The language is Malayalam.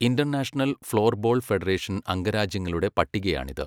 ഇന്റർനാഷണൽ ഫ്ലോർബോൾ ഫെഡറേഷൻ അംഗരാജ്യങ്ങളുടെ പട്ടികയാണിത്.